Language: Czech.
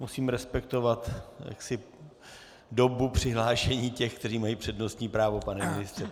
Musím respektovat dobu přihlášení těch, kteří mají přednostní právo, pane ministře.